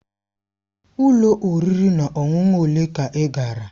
Ụlọ oriri na ọṅụṅụ ole ka ị gara?